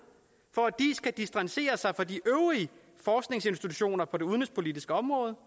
for at distancere sig fra de øvrige forskningsinstitutioner på det udenrigspolitiske område